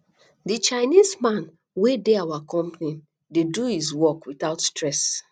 the chinese man wey dey our company dey do his work without stress